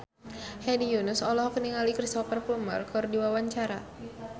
Hedi Yunus olohok ningali Cristhoper Plumer keur diwawancara